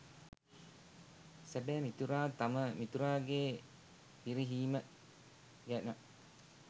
සැබෑ මිතුරා තම මිතුරාගේ පිරිහීම ගැන